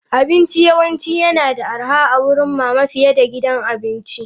Abinci yawanci yana da arha a wurin mama fiye da gidan abinci.